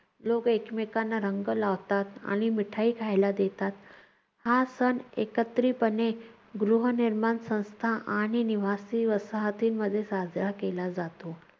लोक एकमेकांना रंग लावतात, आणि मिठाई खायला देतात. हा सण एकत्रितपणे गृहर्निमाण संस्था आणि निवासी वसाहतींमध्ये साजरा केला जातो.